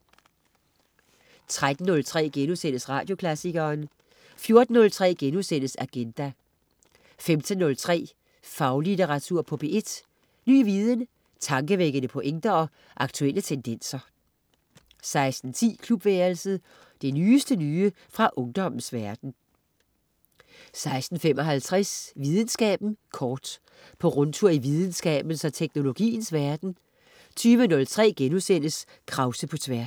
13.03 Radioklassikeren* 14.03 Agenda* 15.03 Faglitteratur på P1. Ny viden, tankevækkende pointer og aktuelle tendenser 16.10 Klubværelset. Det nyeste nye fra ungdommens verden 16.55 Videnskaben kort. På rundtur i videnskabens og teknologiens verden 20.03 Krause på Tværs*